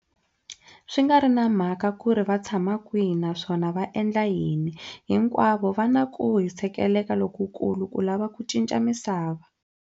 Swi nga ri na mhaka ku ri vatshama kwihi naswona va endla yini, hinkwavo va na ku hisekela lokukulu ku lava ku cinca misava.